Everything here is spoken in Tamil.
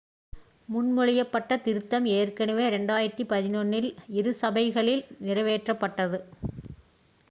முன்மொழியப்பட்ட திருத்தம் ஏற்கனவே 2011 இல் இரு சபைகளிலும் நிறைவேற்றப்பட்டது